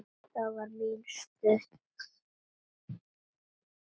Þá var mín í stuði.